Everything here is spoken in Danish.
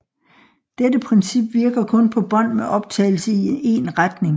Dette princip virker kun på bånd med optagelse i en retning